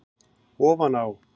Ofan á